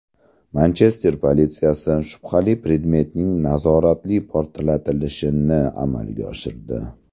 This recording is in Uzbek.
Manchester politsiyasi shubhali predmetning nazoratli portlatilishini amalga oshirdi.